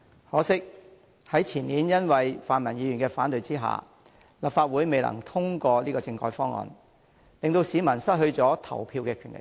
可惜，前年因為泛民議員的反對，立法會未能通過政改方案，令市民失去了投票的權利。